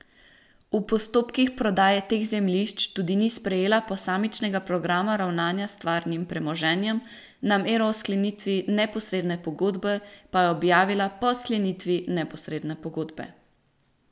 V postopkih prodaje teh zemljišč tudi ni sprejela posamičnega programa ravnanja s stvarnim premoženjem, namero o sklenitvi neposredne pogodbe pa je objavila po sklenitvi neposredne pogodbe.